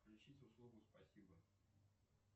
включить услугу спасибо